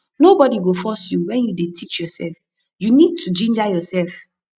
nobody go force you when you dey teach yourself you need to ginger yourself